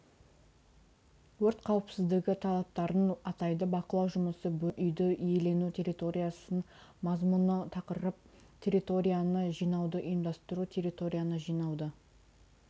өрт қауіпсіздігі талаптарын атайды бақылау жұмысы бөлім үйді иелену территориясы мазмұны тақырып территорияны жинауды ұйымдастыру территорияны жинауды